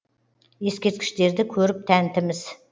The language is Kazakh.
ескерткіштерді көріп тәнтіміз